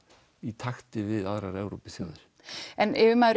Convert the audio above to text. í takti við aðrar Evrópuþjóðir yfirmaður